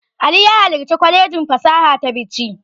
Ali ya halarci kwalejin fasaha ta Bichi.